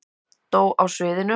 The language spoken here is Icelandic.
Dó á sviðinu